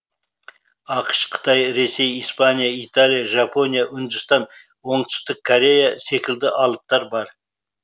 ақш қытай ресей испания италия жапония үндістан оңтүстік корея секілді алыптар бар